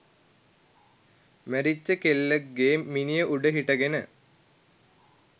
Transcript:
මැරිච්ච කෙල්ලෙක්ගේ මිනිය උඩ හිටගෙන